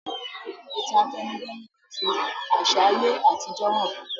Ìtàn àtẹnudẹ́nu máa fi àsà ayé àtijó hàn